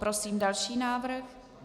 Prosím další návrh.